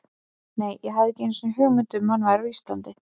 Nei, ég hafði ekki einu sinni hugmynd um að hann væri á Íslandi.